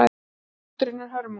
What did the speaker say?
Skúlptúrinn er hörmung.